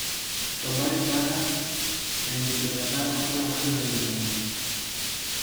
Tobaribara tekidipata olapala le tomon.